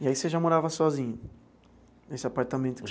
E aí você já morava sozinho nesse apartamento?